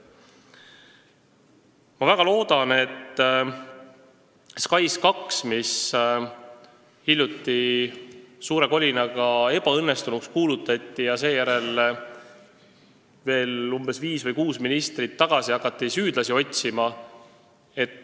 SKAIS2 kuulutati hiljuti suure kolinaga ebaõnnestunuks ja seejärel hakati, umbes viis või kuus ministrit ajas tagasi minnes, süüdlasi otsima.